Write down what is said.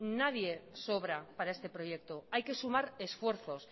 nadie sobra para este proyecto hay que sumar esfuerzos